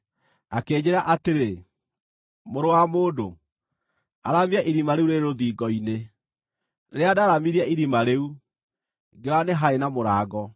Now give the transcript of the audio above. Akĩnjĩĩra atĩrĩ, “Mũrũ wa mũndũ, aramia irima rĩu rĩrĩ rũthingo-inĩ.” Rĩrĩa ndaaramirie irima rĩu, ngĩona nĩ haarĩ na mũrango.